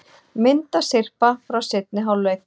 Myndasyrpa frá seinni hálfleik